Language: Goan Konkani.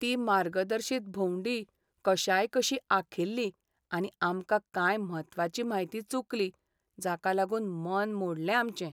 ती मार्गदर्शीत भोंवडी कशायकशी आंखिल्ली आनी आमकां कांय म्हत्वाची म्हायती चुकली जाका लागून मन मोडलें आमचें.